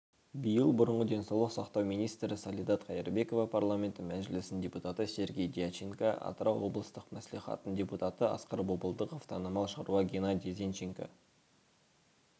биыл бұрынғы денсаулық сақтау министрі салидат қайырбекова парламенті мәжілісінің депутаты сергей дьяченко атырау облыстық мәслихатының депутаты асқар бопылдықов танымал шаруа генадий зенченко